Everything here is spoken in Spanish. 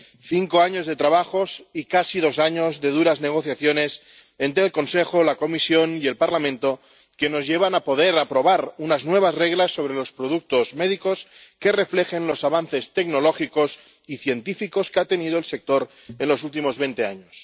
Cinco años de trabajos y casi dos años de duras negociaciones entre el Consejo, la Comisión y el Parlamento que nos llevan a poder aprobar unas nuevas normas sobre los productos médicos que reflejen los avances tecnológicos y científicos que ha tenido el sector en los últimos veinte años.